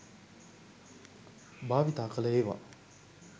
භාවිතා කළ ඒවා